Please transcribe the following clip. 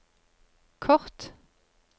kort